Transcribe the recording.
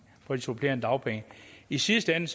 på supplerende dagpenge i sidste ende